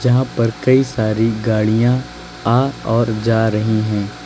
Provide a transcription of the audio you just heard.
यहां पर कई सारी गाड़ियां आ और जा रही हैं।